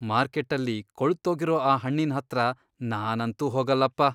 ಮಾರ್ಕೆಟ್ಟಲ್ಲಿ ಕೊಳ್ತೋಗಿರೋ ಆ ಹಣ್ಣಿನ್ ಹತ್ರ ನಾನಂತೂ ಹೋಗಲ್ಲಪ್ಪ.